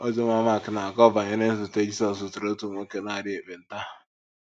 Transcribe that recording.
Oziọma Mak na - akọ banyere nzute Jizọs zutere otu nwoke na - arịa ekpenta.